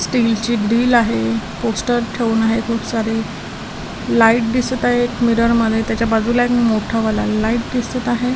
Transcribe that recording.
Steel ची डील आहे पोस्टर ठेवून आहे खूप सारी लाईट दिसत आहे एक मिरर मध्ये त्याच्या बाजूला एक मोठा वाला लाईट दिसत आहे.